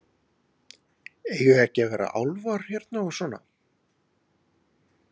Linda: Eiga ekki að vera álfar hérna og svona?